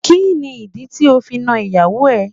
Kí ni ìdí tí ó fi nàn ìyàwó ẹ?